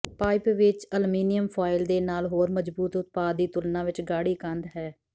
pipe ਵਿੱਚ aluminium foil ਦੇ ਨਾਲ ਹੋਰ ਮਜਬੂਤ ਉਤਪਾਦ ਦੀ ਤੁਲਨਾ ਵਿਚ ਗਾੜ੍ਹੀ ਕੰਧ ਹੈ